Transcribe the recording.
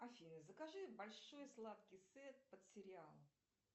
афина закажи большой сладкий сет под сериал